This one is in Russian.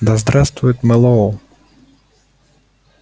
да здравствует мэллоу